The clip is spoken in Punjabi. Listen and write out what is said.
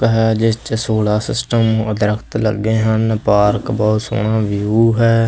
ਹੈ ਜਿਸ ਚ ਸੋਲ਼ਾਂ ਸਿਸਟਮ ਦਰਖਤ ਲੱਗੇ ਹਨ ਪਾਰਕ ਬਹੁਤ ਸੋਹਣਾ ਵਿਊ ਹੈ।